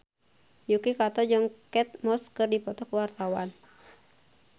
Yuki Kato jeung Kate Moss keur dipoto ku wartawan